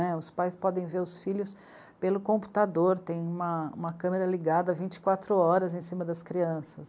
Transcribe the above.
né. Os pais podem ver os filhos pelo computador, tem uma, uma câmera ligada vinte e quatro horas em cima das crianças.